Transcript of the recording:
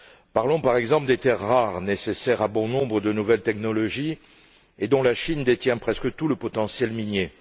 Parlons, par exemple, des terres rares nécessaires à bon nombre de nouvelles technologies, dont la Chine détient presque tout le potentiel minier.